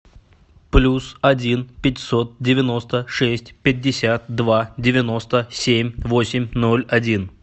плюс один пятьсот девяносто шесть пятьдесят два девяносто семь восемь ноль один